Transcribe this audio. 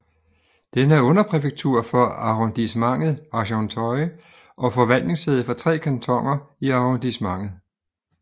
Den er underpræfektur for Arrondissementet Argenteuil og forvaltningssæde for tre kantoner i arrondissementet